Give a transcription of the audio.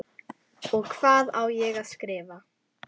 Og hvað á ég að skrifa?